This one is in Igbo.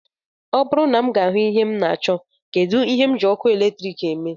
Ọ bụrụ na m ga-ahụ ihe m na-achọ, kedụ ihe m ji ọkụ eletrik eme